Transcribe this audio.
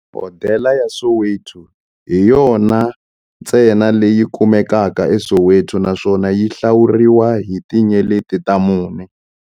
Hodela ya Soweto hi yona ntsena leyi kumekaka eSoweto, naswona yi hlawuriwa hi tinyeleti ta mune.